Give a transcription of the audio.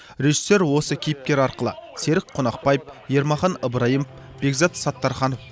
режиссер осы кейіпкер арқылы серік қонақбаев ермахан ыбырайымов бекзат саттарханов